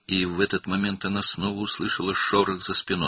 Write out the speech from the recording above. Və bu anda kürəyindən yenidən bir xışıltı eşitdi.